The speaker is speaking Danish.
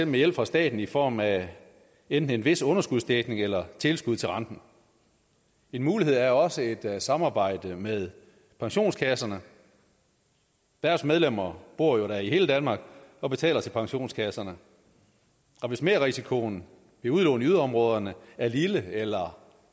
med hjælp fra staten i form af enten en vis underskudsdækning eller tilskud til renten en mulighed er også et samarbejde med pensionskasserne deres medlemmer bor jo da i hele danmark og betaler til pensionskasserne hvis merrisikoen ved udlån i yderområderne er lille eller